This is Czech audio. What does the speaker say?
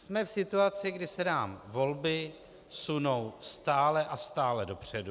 Jsme v situaci, kdy se nám volby sunou stále a stále dopředu.